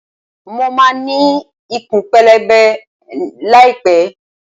Mo máa ní ikùn pẹlẹbẹ láì pẹ́.